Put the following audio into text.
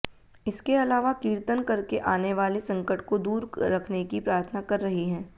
इसके अलावा कीर्तन करके आने वाले संकट को दूर रखने की प्रार्थना कर रही हैं